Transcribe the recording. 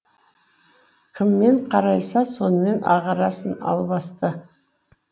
кіммен қарайса сонымен ағарасын албасты